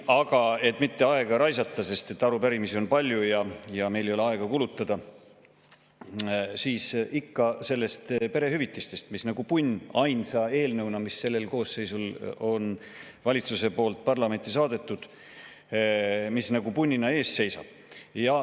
Aga et mitte aega raisata, sest arupärimisi on palju ja meil ei ole aega kulutada, siis ikka sellest perehüvitiste eelnõust, mis ainsa eelnõuna on selle koosseisu ajal valitsuse poolt parlamenti saadetud ja siin punnina ees seisab.